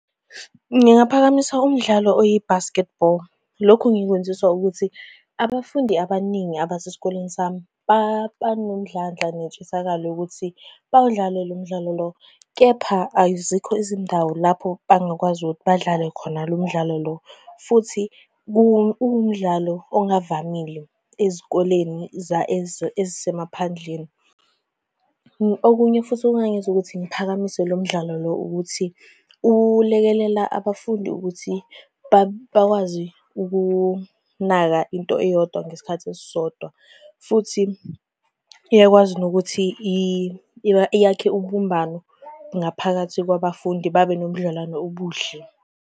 Ngingaphakamisa umdlalo oyi-basketball, lokhu ngikwenziswa ukuthi abafundi abaningi abasesikoleni sami banomdlandla nentshisakelo yokuthi bawudlale lo mdlalo lo. Kepha azikho izindawo lapho bangakwazi ukuthi badlale khona lo mdlalo lo, futhi uwumdlalo ongavamile ezikoleni ezisemaphandleni. Okunye futhi okungangenza ukuthi ngiphakamise lo mdlalo lo ukuthi ulekelela abafundi ukuthi bakwazi ukunaka into eyodwa ngesikhathi esisodwa, futhi uyakwazi nokuthi yakhe ubumbano naphakathi kwabafundi, babe nobudlelwane obuhle.